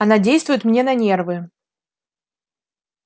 она действует мне на нервы